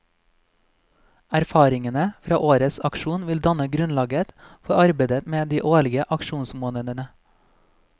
Erfaringene fra årets aksjon vil danne grunnlag for arbeidet med de årlige aksjonsmånedene.